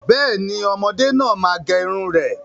Bẹ́ẹ̀ni, ọmọdé náà má gẹrun rẹ̀